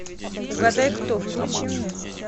угадай кто включи мне